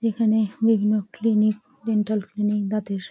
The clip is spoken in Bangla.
এখানে বিভিন্ন ক্লিনিক ডেন্টাল ক্লিনিক দাঁতের--